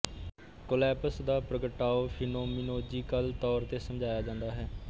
collapse ਦਾ ਪ੍ਰਗਟਾਓ phenomenological ਤੌਰ ਤੇ ਸਮਝਾਇਆ ਜਾਂਦਾ ਹੈ